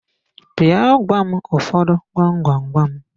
Bịa gwa m ụfọdụ gwam gwam gwam!